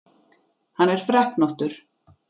Hann er freknóttur.